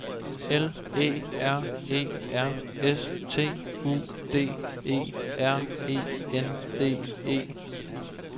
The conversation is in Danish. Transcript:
L Æ R E R S T U D E R E N D E